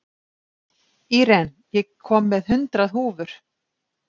Íren, ég kom með hundrað húfur!